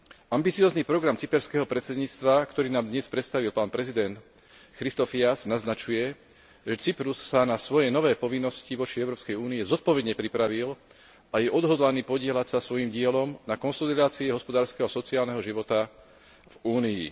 Ambiciózny program cyperského predsedníctva, ktorý nám dnes predstavil pán prezident Christofias, naznačuje, že Cyprus sa na svoje nové povinnosti voči Európskej únii zodpovedne pripravil a je odhodlaný podieľať sa svojím dielom na konsolidácii hospodárskeho a sociálneho života v Únii.